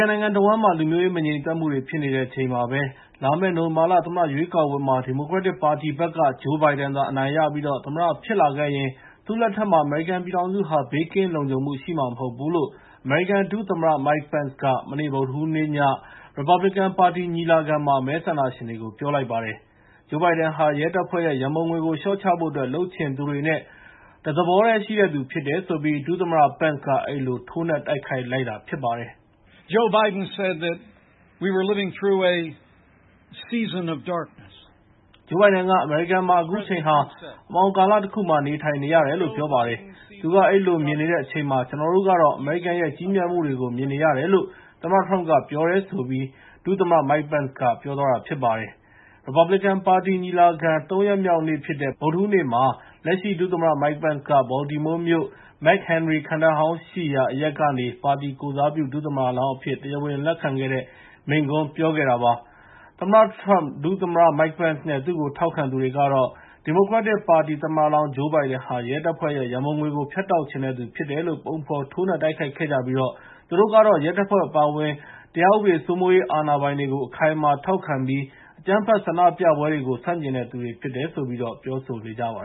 န်နိုင်ငံတဝန်းမှာ လူမျိုးရေး မငြိမ်သက်မှုတွေ ဖြစ်နေချိန်မှာပဲ လာမယ့် နိုဝင်ဘာ သမ္မတရွေးကောက်ပွဲမှာ ဒီမိုကရက်တစ်ပါတီဘက်က ဂျိုးဘိုင်ဒန်သာ အနိုင်ရပြီး သမ္မတဖြစ်လာခဲ့ရင်၊ သူ့လက်ထက်မှာ အမေရိကန်ပြည်ထောင်စုဟာ ဘေးကင်းလုံခြုံမှုရှိမှာ မဟုတ်ဘူးလို့ အမေရိကန်ဒုသမ္မတ Mike Pence က မနေ့ ဗုဒ္ဓဟူးနေ့ည ရီပတ်ဘလီကန်ပါတီညီလာခံမှာ မဲဆန္ဒရှင်တွေကို ပြောလိုက်ပါတယ်။ ဂျိုးဘိုင်ဒန်ဟာ ရဲတပ်ဖွဲ့ရဲ့ ရန်ပုံငွေကို လျှော့ချဖို့အတွက် လုပ်ချင်သူတွေနဲ့ တသဘောတည်း ရှိတဲ့သူဖြစ်တယ်ဆိုပြီး ဒုသမ္မတ Pence က အဲဒီလို ထိုးနှက်တိုက်ခိုက်လိုက်တာဖြစ်ပါတယ်။ "ဂျိုးဘိုင်ဒန်က အမေရိကန်မှာ အခုချိန်ဟာ အမှောင်ကာလတခုမှာ နေထိုင်နေရတယ်လို့ ပြောပါတယ်။ သူ့က အဲဒီလိုမြင်နေတဲ့အချိန်မှာ ကျနော်တို့ကတော့ အမေရိကန်ရဲ့ ကြီးမြတ်မှုတွေကို မြင်နေရတယ်လို့ သမ္မတထရမ့်က ပြောပါတယ်။"ဆိုပြီး ဒု-သမ္မတ Mike Pence က ပြောပါတယ်။ ရီပတ်ဘလီကန်ပါတီညီလာခံ သုံးရက်မြောက်နေ့ဖြစ်တဲ့ ဗုဒ္ဓဟူးနေ့မှာ လက်ရှိ ဒုသမ္မတ Mike Pence က Baltimore မြို့၊ McHenry ခံတပ်ဟောင်းရှိရာ အရပ်ကနေ ပါတီကိုယ်စားပြု ဒုသမ္မတလောင်းအဖြစ် တရားဝင်လက်ခံတဲ့ မိန့်ခွန်းပြောခဲ့တာပါ။ သမ္မတထရမ့်ပ်၊ ဒုသမ္မတ Mike Pence နဲ့ သူ့ကိုထောက်ခံသူတွေကတော့ ဒီမိုကရက်တစ်ပါတီက သမ္မတလောင်း Joe Biden ဟာ ရဲတပ်ဖွဲ့ရဲ့ ရန်ပုံငွေကို ဖြတ်တောက်ချင်တဲ့သူဖြစ်တယ်လို့ ပုံဖော်ထိုးနှက်တိုက်ခိုက်ခဲ့ကြပြီး သူတို့ကတော့ ရဲတပ်ဖွဲ့အပါအဝင် တရားဥပဒေစိုးမိုးရေးအာဏာပိုင်တွေကို အခိုင်အမာထောက်ခံပြီး အကြမ်းဖက်ဆန္ဒပြပွဲတွေကို ဆန့်ကျင်တဲ့သူတွေဖြစ်တယ်လို့ ပြောဆိုနေကြပါ